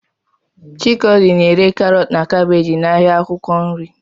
Chikodi na-ere karọt na kabeeji n'ahịa akwụkwọ nri.